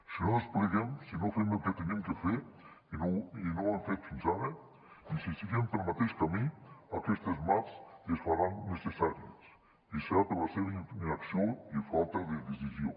si no despleguem si no fem el que hem de fer i no ho hem fet fins ara i seguim pel mateix camí aquestes mats es faran necessàries i serà per la seva inacció i falta de decisió